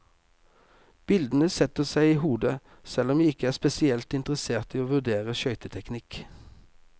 Bildene setter seg i hodet, selv om jeg ikke er spesielt interessert i å vurdere skøyteteknikk.